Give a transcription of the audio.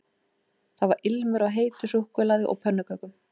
Það var ilmur af heitu súkkulaði og pönnukökum